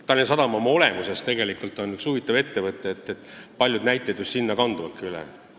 Tallinna Sadam oma olemuses on tegelikult üks huvitav ettevõte, mille kohta käivad paljud näited.